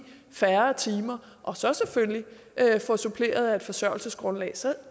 færre timer og så selvfølgelig få suppleret af et forsørgelsesgrundlag så er